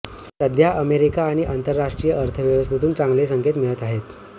सध्या अमेरिका आणि आंतरराष्ट्रीय अर्थव्यवस्थेतून चांगले संकेत मिळत आहेत